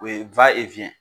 O ye